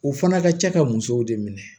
U fana ka ca ka musow de minɛ